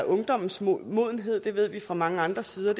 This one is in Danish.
ungdommens modenhed det ved vi også fra mange andre sider